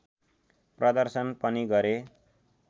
प्रदर्शन पनि गरे